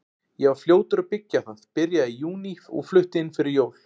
Ég var fljótur að byggja það, byrjaði í júní og flutti inn fyrir jól.